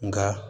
Nka